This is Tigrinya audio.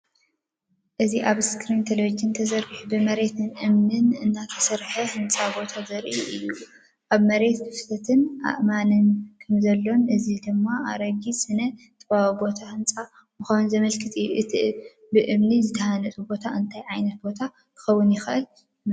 እዚ ኣብ ስክሪን ቴሌቪዥን ተዘርጊሑ ብመሬትን እምንን እተሰርሐ ህንጸት ቦታ ዘርኢ እዩ። ኣብ መሬት ክፍተትን ኣእማንን ከምዘሎን እዚ ድማ ኣረጊት ስነ-ጥንታዊ ቦታ ህንጻ ምዃኑ ዘመልክት እዩ። እቲ ብእምኒ ዝተሃንጸሉ ቦታ እንታይ ዓይነት ቦታ ክኸውን ይኽእል ይመስለኩም?